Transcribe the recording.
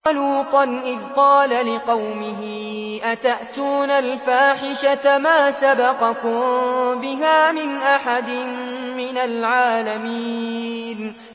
وَلُوطًا إِذْ قَالَ لِقَوْمِهِ أَتَأْتُونَ الْفَاحِشَةَ مَا سَبَقَكُم بِهَا مِنْ أَحَدٍ مِّنَ الْعَالَمِينَ